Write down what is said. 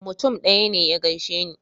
Mutum ɗaya ne ya gaishe ni.